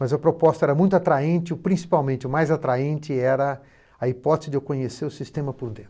Mas a proposta era muito atraente e, principalmente, o mais atraente era a hipótese de eu conhecer o sistema por dentro.